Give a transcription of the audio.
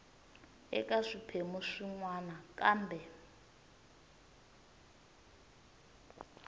eka swiphemu swin wana kambe